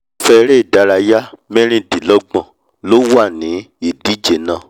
irúfẹ́ eré ìdárayá mẹ́rìdínlọ́gbọ̀n ló wà ní ìdíje náà